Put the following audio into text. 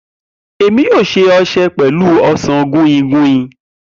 Emi yoo ṣe ọṣẹ pẹlu osan guinguin.